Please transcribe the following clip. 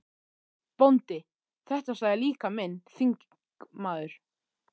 BÓNDI: Þetta sagði líka minn þingmaður